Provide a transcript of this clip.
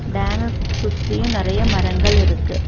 டேமக் சுத்தியு நெறைய மரங்கள் இருக்கு.